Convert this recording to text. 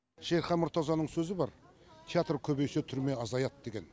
шерхан мұртазаның сөзі бар театр көбейсе түрме азаяды деген